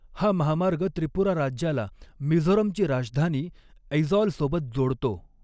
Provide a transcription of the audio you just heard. हा महामार्ग त्रिपुरा राज्याला मिझोरमची राजधानी ऐजॉल सोबत जोडतो.